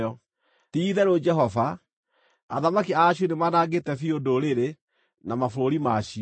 “Ti-itherũ Jehova, athamaki a Ashuri nĩmanangĩte biũ ndũrĩrĩ na mabũrũri macio.